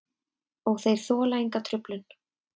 Og þeir þola enga truflun.